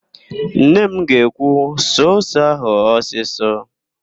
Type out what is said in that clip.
Nne m ga-ekwu, "suo ose ahụ ọsịsọ!